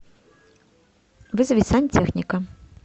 вызови сантехника